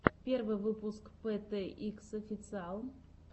первый выпуск пэ тэ икс официал